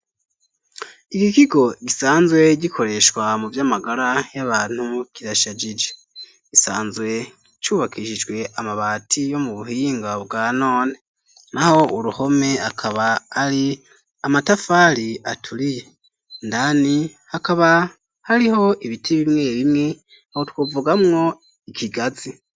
Iki kigo gisanzwe gikoreshwa mu vy’amagara y'abantu, kirashajije; gisanzwe cubakishijwe amabati yo mu buhinga bwa none; naho uruhome akaba ari amatafari aturiye; indani hakaba hariho ibiti bimwe bimwe, aho twavugamwo ikigazi.